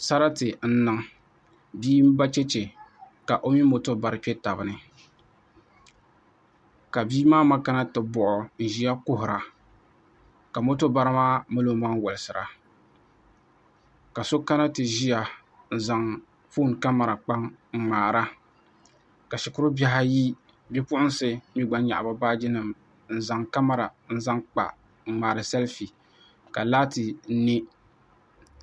Sarati n niŋ bia n ba chɛchɛ ka o mini moto bari kpɛ tabi ni ka bia maa ma kana ti buɣo n ʒiya kuhura ka moto bari maa mali o maŋ wolisira ka so kana ti ʒiya n zaŋ foon kamɛra kpa n ŋmaara ka shikuru bihi ayi Bipuɣunsi gba mii nyaɣi bi baaji n zaŋ kamɛra kpa n ŋmaari sɛlfi ka laati niɛ